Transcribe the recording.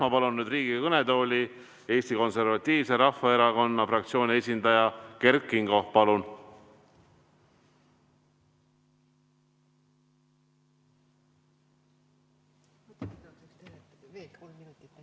Ma palun nüüd Riigikogu kõnetooli Eesti Konservatiivse Rahvaerakonna fraktsiooni esindaja Kert Kingo!